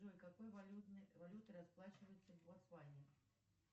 джой какой валютой расплачиваются в ботсване